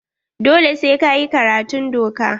Dole sai ka yi karatun doka.